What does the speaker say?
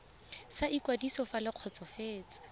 sa ikwadiso fa le kgotsofetse